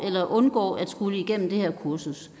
at undgå at skulle igennem det her kursus